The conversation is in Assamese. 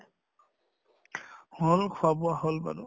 হʼল খোৱা বোৱা হʼল বাৰু।